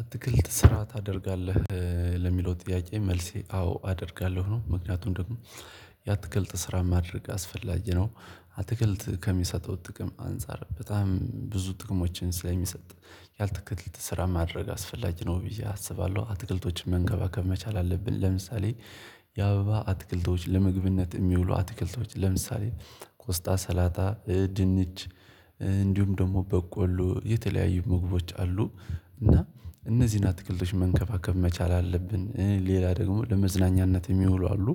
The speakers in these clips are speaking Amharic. አትክልት ስራ ታደርጋለህ ለሚለው ጥያቄ መልሴ አዎ አደርጋለሁ ነው። ምክንያቱም ደግሞ ያትክልት ስራ ማድረግ አስፈላጊ ነው። አትክልት ከሚሰጠው ጥቅም አንፃር በጣም ብዙ ጥቅሞችን ስለሚሰጥ ያትክልት ስራ ማድረግ አስፈላጊ ነው ብዬ አስባለሁ አትክልቶችን መንከባከብ መቻል አለብን። ለምሳሌ የአበባ አትክልቶች ለምግብነት የሚውሉ አትክልቶች ለምሳሌ ቆስጣ ሰላጣ ድንች እንዲሁም ደግሞ በቆሎ የተለያዩ ምግቦች አሉ። እና እነዚህን አትክልቶች መንከባከብ መቻል አለብን። ሌላ ደግሞ ለመዝናኛነት የሚውሉ አሉ።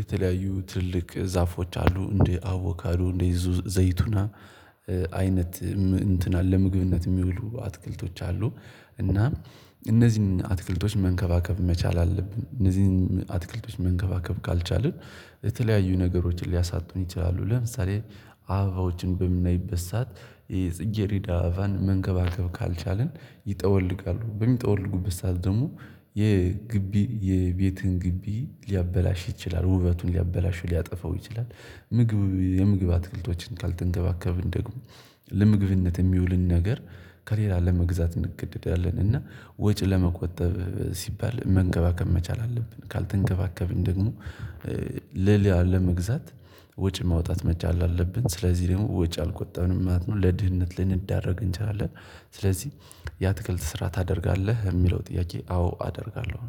የተለያዩ ትልልቅ ዛፎች አሉ። እንዲህ አቮካዱ እንዲህ ዘይቱና አይነት እንትን አለ። ለምግብነት የሚውሉ አትክልቶች አሉ። እና እነዚህን አትክልቶች መንከባከብ መቻል አለብን። እነዚህን አትክልቶች መንከባከብ ካልቻልን የተለያዩ ነገሮችን ሊያሳጡን ይችላሉ። ለምሳሌ አበባዎችን በምናይበት ሰዓት የጽጌሬዳ አበባን መንከባከብ ካልቻልን ይጠወልጋሉ በሚጠወልጉበት ሰዓት ደግሞ የግቢ የቤትን ግቢ ሊያበላሽ ይችላል። ውበቱን ሊያበላሹ ሊያጠፋው ይችላል። ምግብ የምግብ አትክልቶችን ካልተንከባከብን ደግሞ ለምግብነት የሚውልን ነገር ከሌላ ለመግዛት እንገደዳለን። እና ወጪ ለመቆጠብ ሲባል መንገባከብ መቻል አለብን። ካልተንከባከብን ደግሞ ለሌላ ለመግዛት ወጪ ማውጣት መቻል አለብን። ስለዚህ ደግሞ ወጪ አልቆጠብንም ማለት ነው። ለድህነት ልናደረግ እንችላለን። ስለዚህ ያትክልት ስራ ታደርጋለህ የሚለው ጥያቄ? አዎ አደርጋለሁ